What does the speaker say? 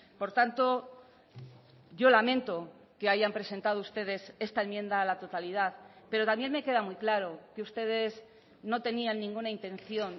por tanto yo lamento que hayan presentado ustedes esta enmienda a la totalidad pero también me queda muy claro que ustedes no tenían ninguna intención